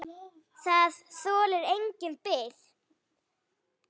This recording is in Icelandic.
Það þolir enga bið!